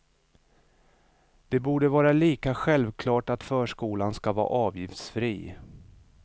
Det borde vara lika självklart att förskolan ska vara avgiftsfri.